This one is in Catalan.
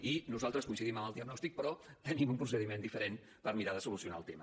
i nosaltres coincidim en el diagnòstic però tenim un procediment diferent per mirar de solucionar el tema